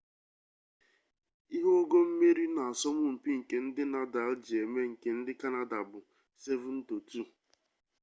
ihe ogo mmeri n'asọmụmpi nke ndị nadal ji megide nke ndị kanada bụ 7-2